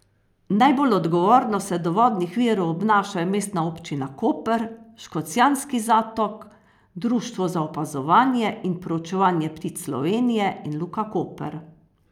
Najbolj odgovorno se do vodnih virov obnašajo Mestna občina Koper, Škocjanski zatok, Društvo za opazovanje in proučevanje ptic Slovenije in Luka Koper.